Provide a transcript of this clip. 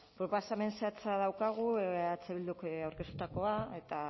proposamen zehatza daukagu eh bilduk aurkeztutakoa eta